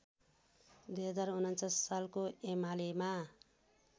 २०४९ सालको एमालेमा